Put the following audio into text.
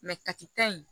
kaki ta in